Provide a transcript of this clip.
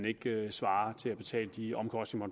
ikke svarer til at betale de omkostninger